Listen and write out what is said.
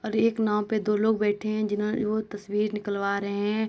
और एक नाँव पे दो लोग बैठे हैं जिन्हों वो तस्वीर निकलवा रहे हैं।